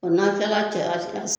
N'a kilala cɛya ci la